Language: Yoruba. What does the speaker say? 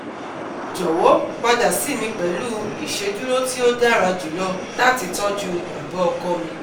Jọwọ pada si mi pẹlu iṣeduro ti o dara julọ lati tọju baba ọkọ mi